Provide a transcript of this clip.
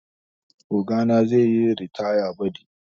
Ogana zai yi ritaya badi